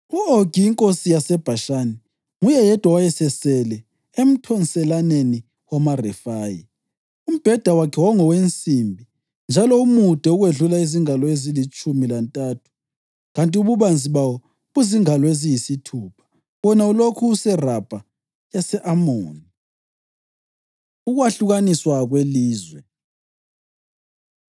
(U-Ogi inkosi yaseBhashani nguye yedwa owayesesele emthonselaneni wamaRefayi. Umbheda wakhe wawungowensimbi njalo umude ukwedlula izingalo ezilitshumi lantathu kanti ububanzi bawo buzingalo eziyisithupha. Wona ulokhu useRabha yase-Amoni.) Ukwahlukaniswa Kwelizwe